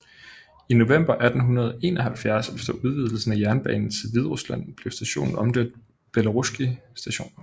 I november 1871 efter udvidelsen af jernbanen til Hviderusland blev stationen omdøbt til Belorusskij Station